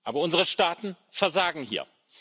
Aber unsere Staaten versagen hier.